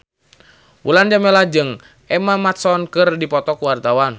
Mulan Jameela jeung Emma Watson keur dipoto ku wartawan